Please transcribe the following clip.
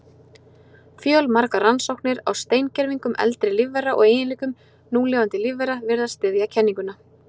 Fjölmargar rannsóknir á steingervingum eldri lífvera og eiginleikum núlifandi lífvera virðast styðja kenninguna.